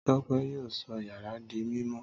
Tọ́pẹ́ yóò sọ yàrá di mímọ́.